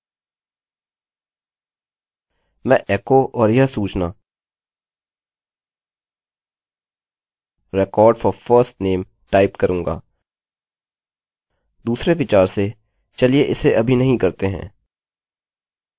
मैं echo और यह सूचना record for firstname टाइप करूँगा दूसरे विचार से चलिए इसे अभी नहीं करते हैं